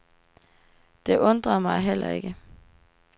Det undrede mig heller ikke.